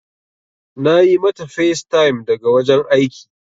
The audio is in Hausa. Na yi mata facetime daga wajen aiki.